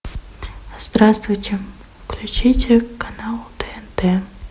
здравствуйте включите канал тнт